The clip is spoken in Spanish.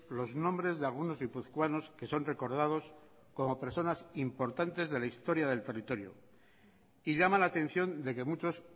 los nombres de algunos guipuzcoanos que son recordados como personas importantes de la historia del territorio y llama la atención de que muchos